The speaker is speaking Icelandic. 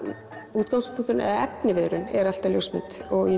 útgangspunkturinn eða efniviðurinn er alltaf ljósmynd og ég